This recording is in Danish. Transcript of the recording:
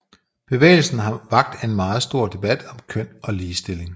Bevægelsen har vakt en meget stor debat om køn og ligestilling